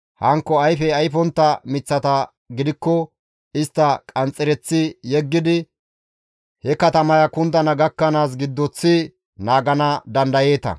Hankko ayfe ayfontta miththata gidikko istta qanxxereththi yeggidi he katamaya kundana gakkanaas giddoththi naagana dandayeeta.